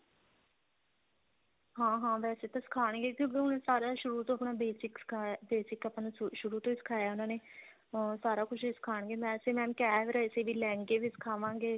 ਹਾਂ ਹਾਂ ਵੈਸੇ ਤਾਂ ਸਿਖਾਂਗੇ ਕਿਉਂਕਿ ਉਹ ਸਾਰਾ ਸ਼ੁਰੂ ਤੋਂ ਆਪਣਾ basic ਸਿਖਾ basic ਸ਼ੁਰੂ ਤੋਂ ਹੀ ਸਿਖਾਇਆ ਉਹਨਾ ਨੇ ਅਹ ਸਾਰਾ ਕੁੱਝ ਹੀ ਸਿਖਾਂਗੇ ਵੈਸੇ mam ਕਹਿ ਵੀ ਰਹੇ ਸੀ ਲਹਿੰਗੇ ਵੀ ਸਿਖਾਵਾਂਗੇ